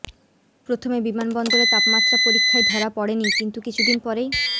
প্রথমে বিমান বন্দরে তাপমাত্রা পরীক্ষায় ধরা পড়েনি কিন্তু কিছুদিন পরেই